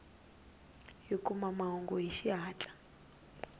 hi kuma mahungu hi xihatla